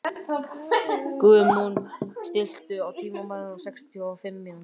Guðmon, stilltu tímamælinn á sextíu og fimm mínútur.